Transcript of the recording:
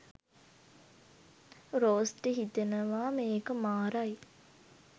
රෝස්ට හිතෙනවා මේක මාරයි